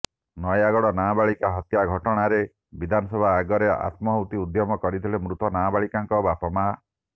ନୟାଗଡ଼ ନାବାଳିକା ହତ୍ୟା ଘଟଣାରେ ବିଧାନସଭା ଆଗରେ ଆତ୍ମାହୁତି ଉଦ୍ୟମ କରିଥିଲେ ମୃତ ନାବାଳିକାଙ୍କ ବାପାମାଆ